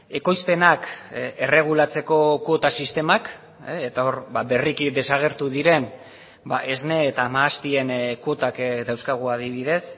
ekoizpenak erregulatzeko kuota sistemak eta hor berriki desagertu diren esne eta mahastien kuotak dauzkagu adibidez